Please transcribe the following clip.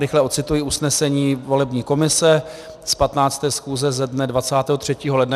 Rychle ocituji usnesení volební komise z 15. schůze ze dne 23. ledna.